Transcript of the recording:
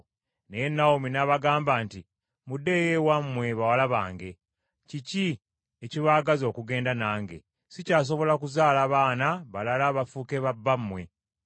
Naye Nawomi n’abagamba nti, “Muddeeyo ewammwe bawala bange. Kiki ekibaagaza okugenda nange? Sikyasobola kuzaala baana balala bafuuke babba mmwe .